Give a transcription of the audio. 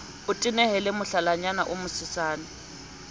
o tehele mohlalanyana o mosesane